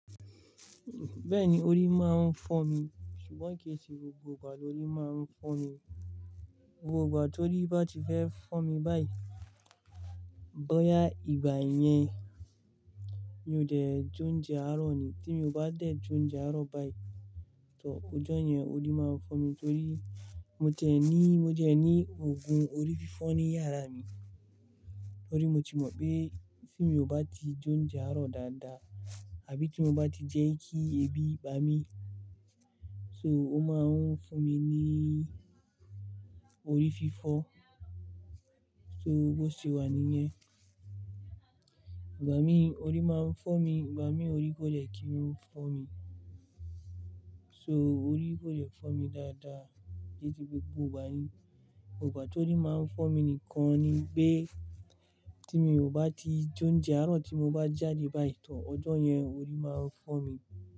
Bẹ́ẹ̀ni, orí máa ń fọ́ mi, ṣùgbọ́n kì í ṣe gbogbo ìgbà lórí máa ń fọ́ mi. Gbogbo tó rí bá ti fẹ́ fọ́ mi báyìí, bóyá ìgbà yẹn mi ò dẹ̀ jóún jẹ àárọ̀ ni. Tí mi ò bá dẹ̀ jóún jẹ àárọ̀ báyìí, tò ọjọ́ yẹn orí máa fọ́ mi torí mo jẹ̀ ní, mo jẹ̀ ní òògùn orí fífọ́ ní yàrá mi. Torí mo ti mọ̀ pé tí mi ò bá ti jóún jẹ àárọ̀ dáadáa, àbí tí mo bá ti jẹ́ kí ebi bá mi, so ó máa ń fún mi ní orí fífọ́. So bó ṣe wà níyẹn. Ìgbà mí orí máa ń fọ́ mi, ìgbà mí orí kò lè kí ń fọ́ mi. So orí kò lè fọ́ mi dáadáa ju ti gbogbo ìgbà ni. Ìgbà tó rí máa ń fọ́ mi nìkan ni pé tí mi ò bá ti jóún jẹ àárọ̀ tí mo bá jáde báyìí tò ọjọ́ yẹn orí máa ń fọ́ mi.